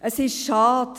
Es ist schade.